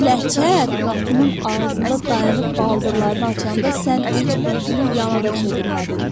amma bu ləçər qapının ağzında dayanıb baldırlarını açanda sən heç üzünü yana da çevirmədin.